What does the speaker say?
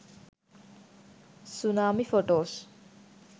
tsunami photos